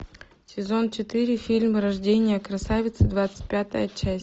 сезон четыре фильм рождение красавицы двадцать пятая часть